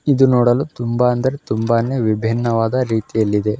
ಇದು ನೋಡಲು ತುಂಬಾ ಅಂದರೆ ತುಂಬಾನೇ ವಿಭಿನ್ನವಾದ ರೀತಿಯಲ್ಲಿದೆ.